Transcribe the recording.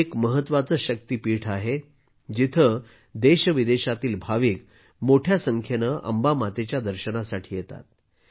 हे एक महत्त्वाचे शक्तीपीठ आहे जिथे देशविदेशातील भाविक मोठ्या संख्येने अंबा मातेच्या दर्शनासाठी येतात